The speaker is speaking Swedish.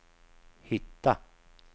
hitta